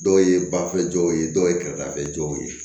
Dɔw ye bafilɛ dɔw ye dɔw ye kɛrɛdaw ye